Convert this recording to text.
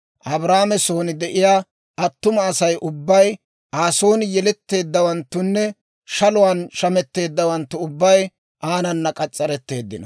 Abrahaame son de'iyaa attuma Asay ubbay, Aa son yeletteeddawanttunne shaluwaan shammeeddawanttu ubbay aanana k'as's'aretteeddino.